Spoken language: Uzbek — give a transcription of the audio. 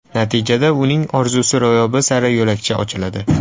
Natijada uning orzusi ro‘yobi sari yo‘lakcha ochiladi.